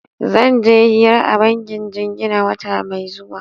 Zan je hira a bankin jingina wata mai zuwa.